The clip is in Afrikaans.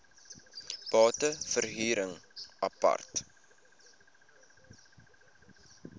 bate verhuring apart